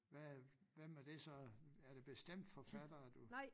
Hvad øh hvem er det så er det bestemte forfattere du